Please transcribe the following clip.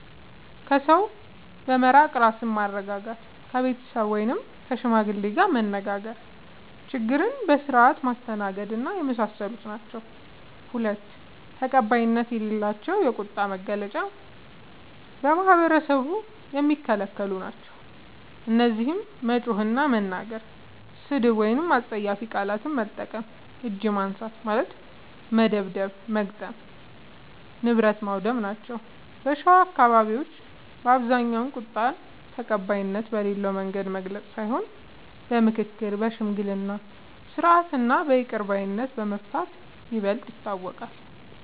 ከሰው በመራቅ ራስን ማረጋጋት፣ ከቤተሰብ ወይም ከሽማግሌ ጋር መነጋገር፣ ችግርን በስርዓት ማስተናገድና የመሳሰሉት ናቸዉ። ፪. ተቀባይነት የሌላቸው የቁጣ መግለጫዎች በማህበረሰቡ የሚከለክሉ ናቸዉ። እነዚህም መጮህ እና መናገር፣ ስድብ ወይም አስጸያፊ ቃላት መጠቀም፣ እጅ ማንሳት (መደብደብ/መግጠም) ፣ ንብረት ማዉደም ናቸዉ። በሸዋ አካባቢዎች በአብዛኛዉ ቁጣን ተቀባይነት በሌለዉ መንገድ መግለጽ ሳይሆን በምክክር፣ በሽምግልና ስርዓት እና በይቅር ባይነት በመፍታት ይበልጥ ይታወቃል።